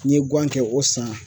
N ye gan kɛ o san